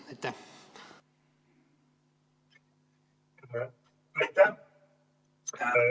Aitäh!